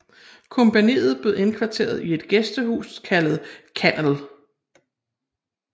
Kompagniet blev indkvarteret i et gæstehus kaldet Kannel